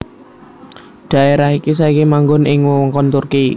Dhaérah iki saiki manggon ing wewengkon Turki